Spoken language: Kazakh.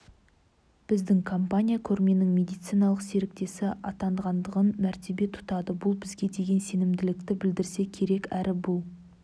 біздің компания көрменің медициналық серіктесі атанғандығын мәртебе тұтады бұл бізге деген сенімділікті білдірсе керек әрі бұл